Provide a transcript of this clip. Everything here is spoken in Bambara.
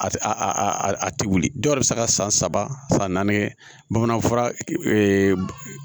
A a tɛ wuli dɔw yɛrɛ bɛ se ka san saba san naani kɛ bamanan fura